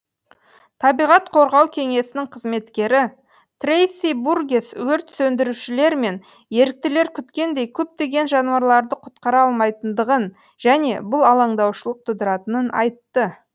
табиғат қорғау кеңесінің қызметкері трейси бургесс өрт сөндірушілер мен еріктілер күткендей көптеген жануарларды құтқара алмайтындығын және бұл алаңдаушылық тудыратынын айтты